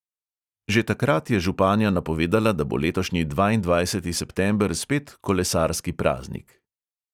Že takrat je županja napovedala, da bo letošnji dvaindvajseti september spet kolesarski praznik.